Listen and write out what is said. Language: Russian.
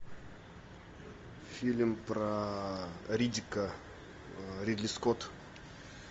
фильм про риддика ридли скотт